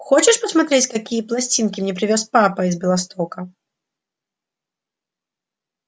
хочешь посмотреть какие пластинки мне привёз папа из белостока